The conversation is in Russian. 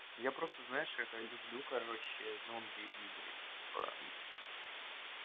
я просто знаешь это люблю короче зомби игры типа